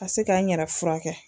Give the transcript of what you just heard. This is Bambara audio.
Ka se k'an yɛrɛ furakɛ.